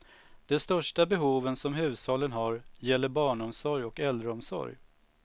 Det största behoven som hushållen har gäller barnomsorg och äldreomsorg.